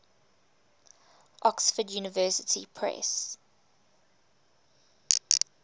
oxford university press